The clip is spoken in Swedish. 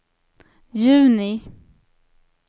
juni